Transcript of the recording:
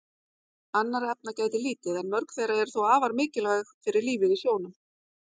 Annarra efna gætir lítið en mörg þeirra eru þó afar mikilvæg fyrir lífið í sjónum.